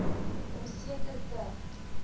om seker te